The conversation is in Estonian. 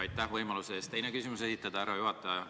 Aitäh võimaluse eest teine küsimus esitada, härra juhataja!